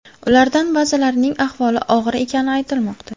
Ulardan ba’zilarining ahvoli og‘ir ekani aytilmoqda.